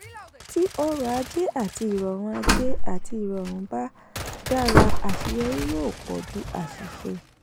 tí ọrọ̀ ajé àti ìrọ̀rùn ajé àti ìrọ̀rùn bá dára aṣeyọrí yó pọ̀ ju àṣìṣe.